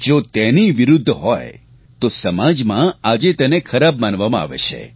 જો તેની વિરૂદ્ધ હોય તો સમાજમાં આજે તેને ખરાબ માનવામાં આવે છે